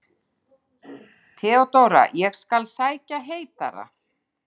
THEODÓRA: Ég skal sækja heitara.